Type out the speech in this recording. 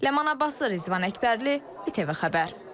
Ləman Abbaslı, Rizvan Əkbərli, ATV Xəbər.